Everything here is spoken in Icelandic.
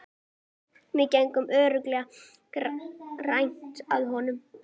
Við getum örugglega grætt á honum.